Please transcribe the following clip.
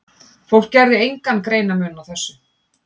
Fólk gerði engan greinarmun á þessu.